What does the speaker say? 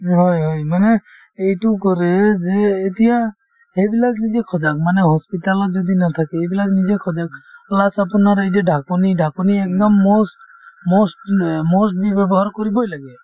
হয় হয় মানে এইটো কৰে এই যে এতিয়া সেইবিলাক নিজে সজাগ মানে hospital ত যদি নাথাকে এইবিলাক নিজে সজাগ plus আপোনাৰ এই যে ঢাকনি ঢাকনি একদম most most এম্ এ most বি ব্যৱহাৰ কৰিবই লাগে